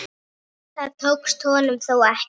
Þetta tókst honum þó ekki.